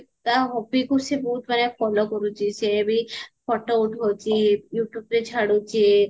ତା hobbyକୁ ସେ ବହୁତ ମାନେ follow କରୁଚି ସେବି photo ଉଠାଉଚି youtubeରେ ଛାଡୁଚି